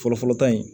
Fɔlɔfɔlɔ ta in